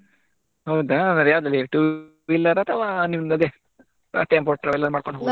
ಹೌದಾ ಹಾಗಾದ್ರೆ ಯಾವ್ದುದ್ರಲ್ಲಿ two wheeler ಆ ಅಥವಾ ನಿಮ್ಮದು ಅದೇ ಮಾಡ್ಕೊಂಡು ಹೋಗುದಾ.